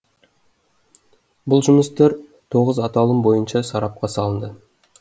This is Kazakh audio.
бұл жұмыстар тоғыз аталым бойынша сарапқа салынды